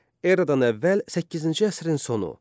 Eradan əvvəl səkkizinci əsrin sonu.